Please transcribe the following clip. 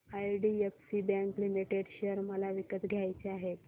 IDFC bank limited share मला विकत घ्यायचे आहेत